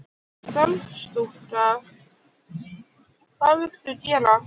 Starfsstúlka: Hvað viltu gera?